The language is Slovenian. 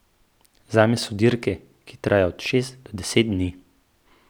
Zame so dirke, ki trajajo od šest do deset dni.